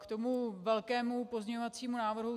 K tomu velkému pozměňovacímu návrhu.